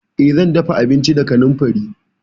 Eh, zan dafa abinci da kanamfari.